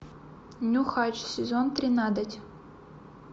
нюхач сезон тринадцать